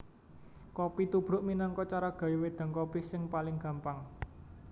Kopi tubruk minangka cara gawé wédang kopi sing paling gampang